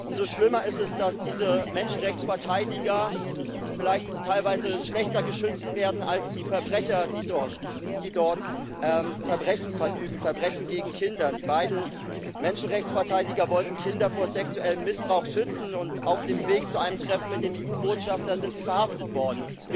Umso schlimmer ist es, dass diese Menschenrechtsverteidiger vielleicht teilweise schlechter geschützt werden als die Verbrecher, die dort Verbrechen gegen Kinder verüben. Die beiden Menschenrechtsverteidiger wollten Kinder vor sexuellem Missbrauch schützen, und auf dem Weg zu einem Treffen mit dem EU Botschafter sind sie verhaftet worden.